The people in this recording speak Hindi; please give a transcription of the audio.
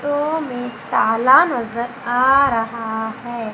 आट्रो में ताला नजर आ रहा है।